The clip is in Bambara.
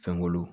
Fɛnkolo